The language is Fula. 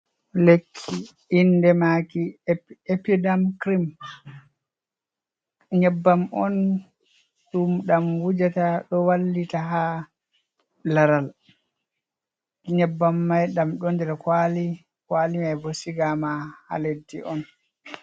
Lekki inde maki epidem krim, nyebbam on ɗum ɗam wujata ɗo wallita ha laral, nyebbam mai ɗam ɗo nder kwali, kwali mai bo sigama ha leddi on.